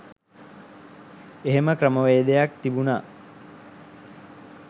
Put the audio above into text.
එහෙම ක්‍රමවේදයක් තිබුණ